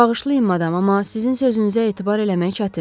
Bağışlayın madama, amma sizin sözünüzə etibar eləmək çətindir.